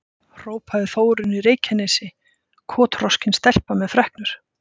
hrópaði Þórunn í Reykjanesi, kotroskin stelpa með freknur.